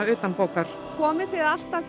utanbókar komið þið alltaf